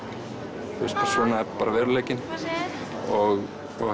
svona er veruleikinn og